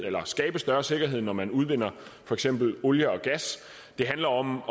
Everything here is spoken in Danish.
at skabe større sikkerhed når man udvinder for eksempel olie og gas det handler om